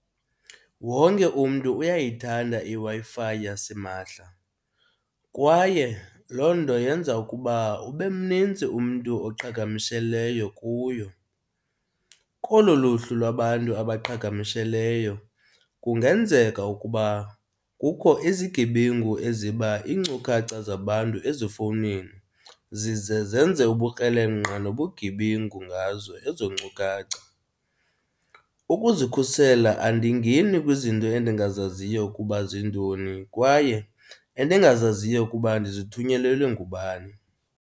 Wonke umntu uyayithanda iWi-Fi yasimahla kwaye loo nto yenza ukuba ube mnintsi umntu oqhagamsheleyo kuyo. Kolo luhlu lwabantu abaqhagamisheleyo kungenzeka ukuba kukho izigebengu eziba iinkcukacha zabantu ezifowunini zize zenze ubukrelemnqa nobugebengu ngazo ezo nkcukacha. Ukuzikhusela andingeni kwizinto endingazaziyo ukuba ziintoni kwaye endingazaziyo ukuba ndizithunyelelwe ngubani.